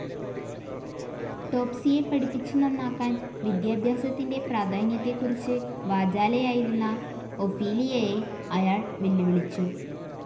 ടോപ്സിയെ പഠിപ്പിച്ചു നാന്നാക്കാൻ, വിദ്യാഭ്യാസത്തിന്റെ പ്രാധാന്യത്തെക്കുറിച്ചു വാചാലയായിരുന്ന ഒഫീലിയയെ അയാൾ വെല്ലുവിളിച്ചു.